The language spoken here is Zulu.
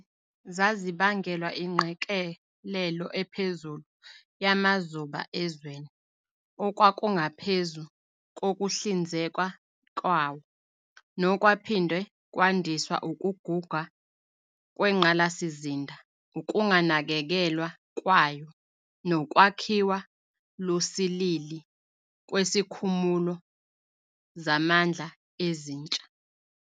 Lezi zazibangelwa ingqekelelo ephezulu yamazuba ezweni okwakungaphezu kokuhlinzekwa kwawo, nokwaphinde kwandiswa ukuguga kwengqalasizinda, ukunganakekelwa kwayo, nokwakhiwa lusilili kwesikhumulo zamandla ezintsha.